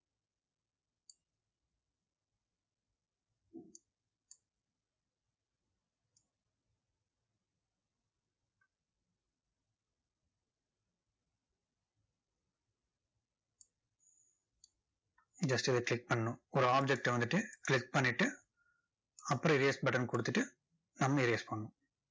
just இதை click பண்ணணும். ஒரு object டை வந்துட்டு click பண்ணிட்டு, அப்புறம் earse button கொடுத்துட்டு, நம்ம erase பண்ணணும்.